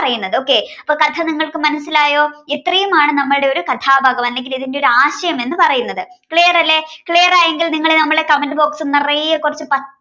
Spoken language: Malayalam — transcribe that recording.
okay അപ്പൊ കഥ നിങ്ങൾക്ക് മനസ്സിലായോ ഇത്രയുമാണ് നമ്മുടെ കഥാഭാഗം അല്ലെങ്കിൽ ഒരു ആശയം എന്ന് പറയുന്നത്. clear അല്ല clear ആണെങ്കിൽ നിങ്ങൾ നമ്മുടെ comment box നിറയെ കൊറേ പച്ച